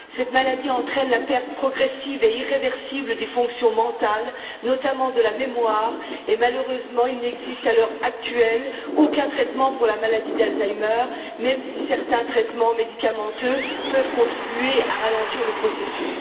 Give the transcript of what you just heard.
Cette maladie entraîne la perte progressive et irréversible des fonctions mentales, notamment de la mémoire et, malheureusement, il n'existe, à l'heure actuelle, aucun traitement pour la maladie d'Alzheimer même si certains traitements médicamenteux peuvent contribuer à ralentir le processus.